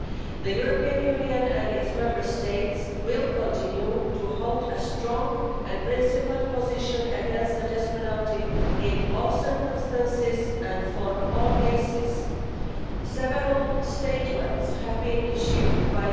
The European Union and its Member States will continue to hold a strong and principled position against the death penalty in all circumstances and all cases. Several statements have been issued by the European External Action Service calling for the de facto moratorium on the death penalty to be upheld as a step towards its abolition. Radicalisation and criminality are on the rise in the Maldives.